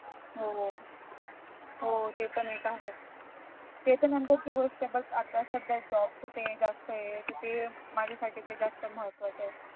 हा हा हो ते पण एक आहे ते तर नंतरची गोष्ट आहे पण आता सध्या job च ते जास्त आहे ते तर माझ्या साठी ते जास्त महातवाच आहे